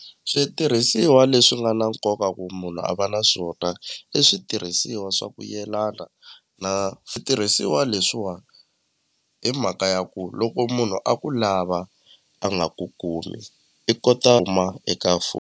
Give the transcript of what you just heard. Switirhisiwa leswi nga na nkoka ku munhu a va na swona i switirhisiwa swa ku yelana na switirhisiwa leswiwa hi mhaka ya ku loko munhu a ku lava a nga ku kumi i kota eka .